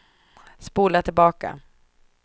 spola tillbaka